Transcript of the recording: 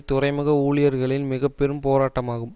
துறைமுக ஊழியர்களின் மிக பெரும் போராட்டமாகும்